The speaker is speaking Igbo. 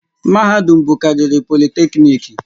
Mahadum bụkarịrị Politekniiki